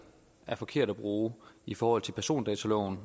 er forkert at bruge i forhold til persondataloven